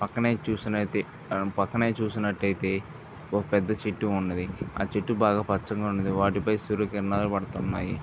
పక్కనే చూసినట్టు అయితే పక్కన చూసినట్టు అయితే ఒక పెద్ద చెట్టు ఉన్నది. అ చెట్టు బాగా పచ్చగా ఉన్నది వాటిపై సూర్యకిరణాలు పడుతున్నాయి.